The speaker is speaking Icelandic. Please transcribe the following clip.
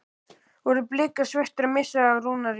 Voru Blikar svekktir að missa af Rúnari?